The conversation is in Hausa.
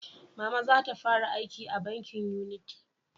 Mama za ta fara aiki a bankin Unity